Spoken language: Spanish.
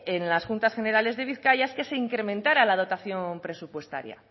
en las juntas generales de bizkaia es que se incrementara la dotación presupuestaria